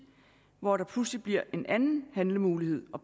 hvor der pludselig bliver en anden handlemulighed og